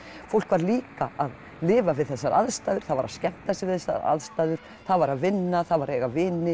fólk var líka að lifa við þessar aðstæður það var að skemmta sér við þessar aðstæður það var að vinna eiga vini